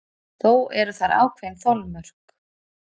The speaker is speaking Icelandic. Þó eru þar ákveðin þolmörk.